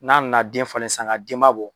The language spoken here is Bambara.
N'a nana den falen sisan denba bɔ